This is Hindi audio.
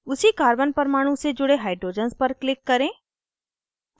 उसी carbon परमाणु से जुड़े hydrogens पर click करें